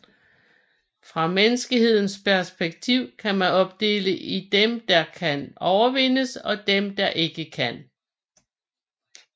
Fra menneskehedens perspektiv kan man opdele i dem der kan overvindes og dem der ikke kan